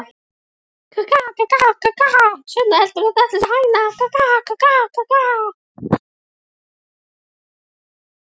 Þorbjörn Þórðarson: Hvaða kaupverð er greitt?